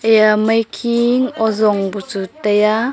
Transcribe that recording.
eya maikhe ozong bu chu taiya.